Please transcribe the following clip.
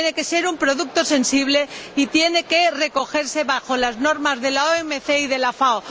tiene que ser un producto sensible y tiene que regirse por las normas de la OMC y de la FAO.